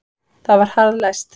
Það var harðlæst.